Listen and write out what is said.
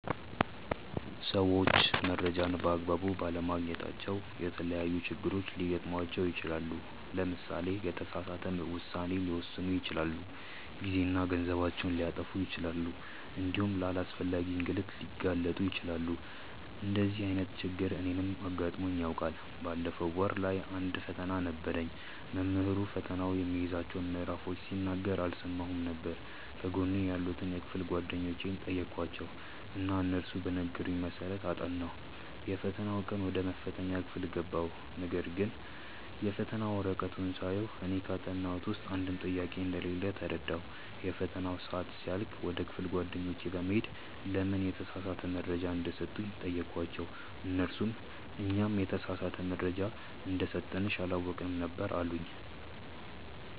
ሰዎች መረጃን በ አግባቡ ባለማግኘታቸው የተለያዪ ችግሮች ሊገጥማቸው ይችላል። ለምሳሌ የተሳሳተ ውሳኔ ሊወስኑ ይችላሉ፣ ጊዜና ገንዘባቸውን ሊያጠፉ ይችላሉ እንዲሁም ለአላስፈላጊ እንግልት ሊጋለጡ ይችላሉ። እንደዚህ አይነት ችግር እኔንም አጋጥሞኝ ያውቃል። ባለፈው ወር ላይ አንድ ፈተና ነበረኝ። መምህሩ ፈተናው የሚይዛቸውን ምዕራፎች ሲናገር አልሰማሁትም ነበር። ከጎኔ ያሉትን የክፍል ጓደኞቼን ጠየኳቸው እና እነሱ በነገሩኝ መሰረት አጠናሁ። የፈተናው ቀን ወደ መፈተኛ ክፍል ገባሁ ነገርግን የፈተና ወረቀቱን ሳየው እኔ ካጠናሁት ውስጥ አንድም ጥያቄ እንደሌለ ተረዳሁ። የፈተናው ሰአት ሲያልቅ ወደ ክፍል ጓደኞቼ በመሄድ ለምን የተሳሳተ መረጃ እንደሰጡኝ ጠየኳቸው እነርሱም "እኛም የተሳሳተ መረጃ እንደሰጠንሽ አላወቅንም ነበር አሉኝ"።